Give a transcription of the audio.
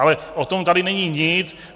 Ale o tom tady není nic.